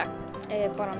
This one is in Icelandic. bara